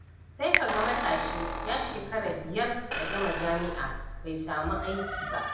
Sai kaga matashi ya shekara biyar da gama jami'a bai sami aiki ba.